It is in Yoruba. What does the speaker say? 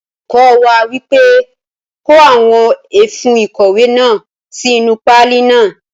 Olùkọ wa wípé; Kó àwọn ẹfun ìkọ̀wé náà sí inú páálí náà.